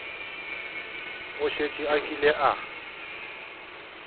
o šetše a kile a